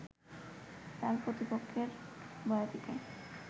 তাঁর প্রতিপক্ষের বয়াতিকে